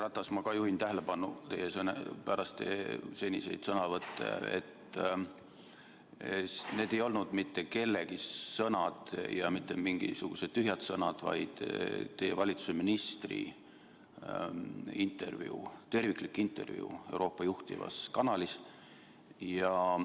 Härra Ratas, ma ka juhin tähelepanu, pärast teie seniseid sõnavõtte, et need ei olnud mitte kellegi lihtsalt sõnad, mingisugused tühjad sõnad, vaid teie valitsuse ministri terviklik intervjuu Euroopa juhtivas kanalis.